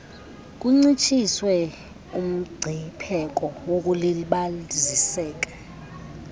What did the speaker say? kuncitshiswe umgcipheko wokulibaziseka